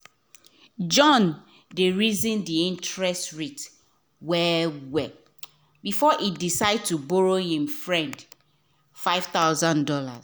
john de reason the interest rate well well before e decide to borrow him friend five thousand dollars